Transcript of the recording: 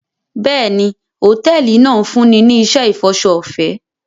Bẹ́ẹ̀ni, hotẹẹli náa n funni ni iṣẹ ifọṣọ ọfẹ